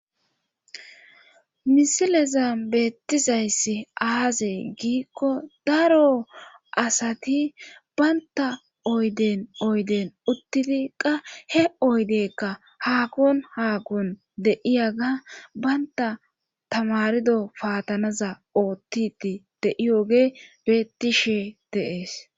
misileza beettizayssi aazee giikko daro asati baynta oyden oyden uttidi qa he oydeykka haakon haakon de7iyaga baynta tamarido paatanaza oottiti de7iyoge beettishe deees